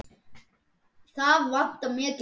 Það vantar mikið upp á.